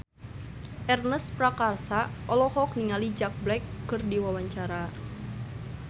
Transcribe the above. Ernest Prakasa olohok ningali Jack Black keur diwawancara